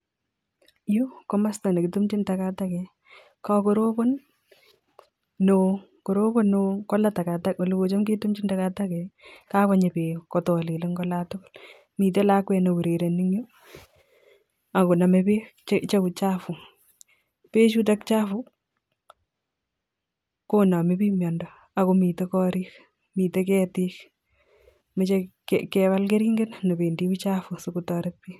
Yu ko komasta nekitumjin takatakaek kakorobon neo ak korobon neo kot ko la takatakaek oleketam ketumjin takatakaek ak ko kakonyi bek kotakolelen kolatuguk miten lakwet neurereni en Yu akonamee bek Che chafu bek Chuton chafu konamee bik mondo akomiten korik, miten ketik mache kebaln keringet nebendi uchafu asikotaret bik .